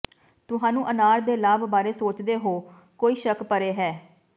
ਤੁਹਾਨੂੰ ਅਨਾਰ ਦੇ ਲਾਭ ਬਾਰੇ ਸੋਚਦੇ ਹੋ ਕੋਈ ਸ਼ੱਕ ਪਰੇ ਹੈ